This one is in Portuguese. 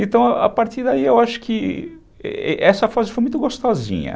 Então, a partir daí, eu acho que essa fase foi muito gostosinha.